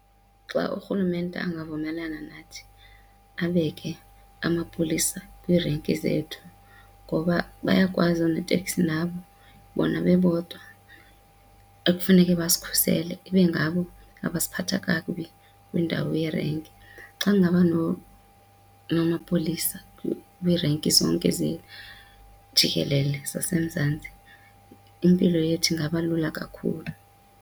Xa urhulumente angavumelana nathi abeke amapolisa kwiirenki zethu ngoba bayakwazi oonoteksi nabo bona bebodwa ekufuneke basikhusele ibe ngabo abasiphatha kakubi kwiindawo yerenki. Xa ngaba namapolisa weerenki zonke jikelele zaseMzantsi, impilo yethu ingaba lula kakhulu.